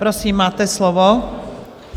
Prosím, máte slovo.